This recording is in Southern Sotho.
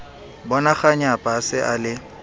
bonakganyapa a se a le